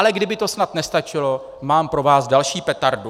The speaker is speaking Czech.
Ale kdyby to snad nestačilo, mám pro vás další petardu.